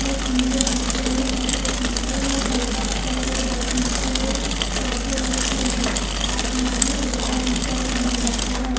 पीले दूसरे ने सफेद तीसरे ने हल्का सफेद और तीसरे चौथे व्यक्ति ने आसमानी रंग का टीशर्ट पहन रखा है।